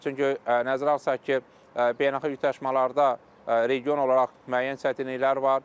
Çünki nəzərə alsaq ki, beynəlxalq ylşmalarda region olaraq müəyyən çətinliklər var.